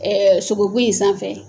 sogobu in sanfɛ